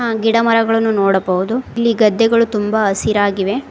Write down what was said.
ಗಿಡಮರಗಳನ್ನು ನೋಡಬಹುದು ಇಲ್ಲಿ ಗದ್ದೆಗಳು ತುಂಬಾ ಹಸಿರಾಗಿವೆ.